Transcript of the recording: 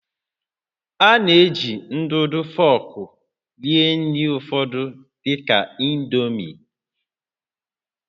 A na-eji ndụdụ fọọkụ rie nri ụfọdụ dị ka indomie